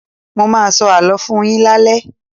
Mo ma sọ àló fún-un yín lale.